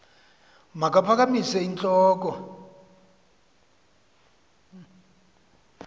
makaphakamise int loko